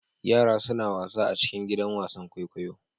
Yara suna wasa a cikin gidan wasan kwaikwayo.